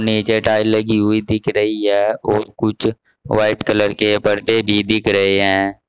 नीचे टाइल्स लगी हुई दिख रही है और कुछ व्हाइट कलर के परदे भी दिखे रहे हैं।